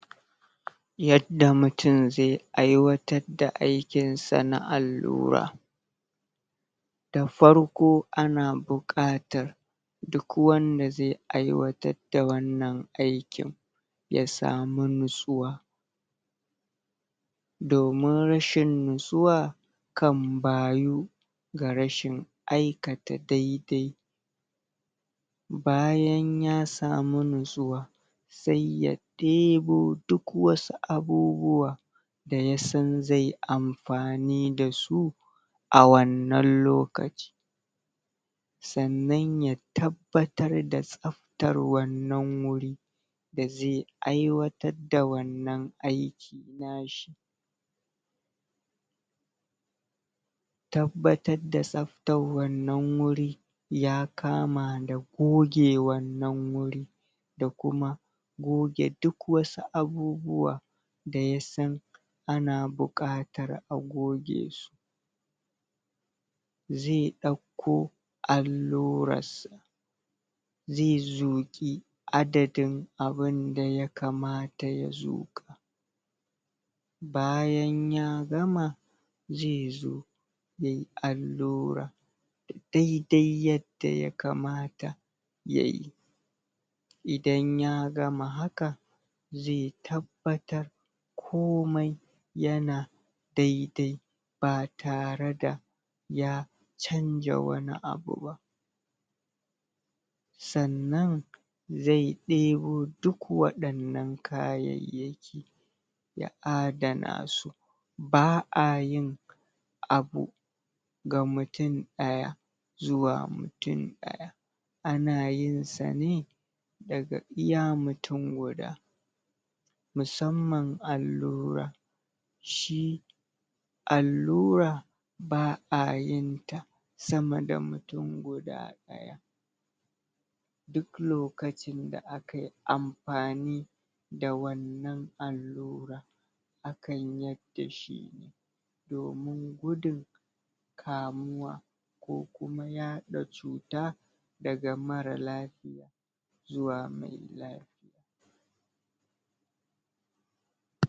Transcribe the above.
Yadda mutum zai, Aiwatar da aikinsa na allura Da farko ana bukatar Duk wanda zai aiwatar da wannan aikin, Ya samu natsuwa Domin rashin natsuwa, Kan bayu Ga rashin aikata daidai Bayan ya samu natsuwa Saiya ɗebo duk wasu abubuwa Da yasan zai amfani dasu A wannan lokaci Sannan ya tabbatar da Tsaftar wannan wuri Dazai ai'watar da wannan aiki Nashi Tabbatar da tsaftar wannan wuri Ya kama da goge wannan wuri Da kuma Goge duk wasu abubuwa Da yasan, Ana bukatar a goge su Zai dauko, Allurar sa Zai zuƙi Adadin abunda ya kamata daya zuƙa. Bayan ya gama, Zai zo Yayi allura Daidai yadda ya kamata Yayi Idan ya gama hakan, Zai tabbatar Komai Yana Daidai Ba tare da Ya, Chanja wani abu ba Sannan Zai ɗebo duk wannan kayayyaki Ya adana su Ba'a yin, Abu Ga mutum daya Zuwa mutum daya Ana yinsa ne, Daga iya mutum guda Musamman allura Shi, Allura Ba'a yinta Sama da mutum guda daya Duk lokacin da akai Ampani Da wannan allura Akan yadda shi Domun gudun Kamuwa Ko kuma yaɗa cuta Daga marar lafiya Zuwa marar lafiya